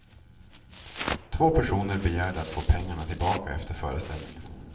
Två personer begärde att få pengarna tillbaka efter föreställningen.